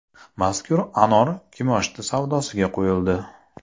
Mazkur anor kimoshdi savdosiga qo‘yildi.